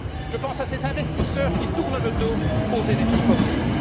Je pense à ces investisseurs qui tournent le dos aux énergies fossiles.